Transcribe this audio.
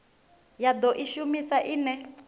ya do i shumisa ine